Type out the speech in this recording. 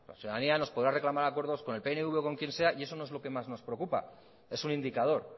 la ciudadanía nos podrá reclamar acuerdos con el pnv o con quien sea y eso no es lo que más nos preocupa es un indicador